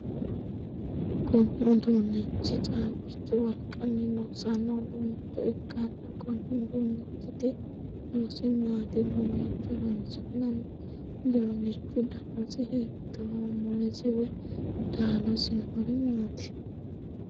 Kunni uduunichi caabichu wolqanni loosano uduunicho ikanna konni uduunichiti horosi maati? Mamiicho horoonsi'nanni? uduunichu dannasi hiittooho? Mulesi woyi midaadosi noori maati?